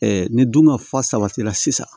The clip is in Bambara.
ni dun ka fa sabatila sisan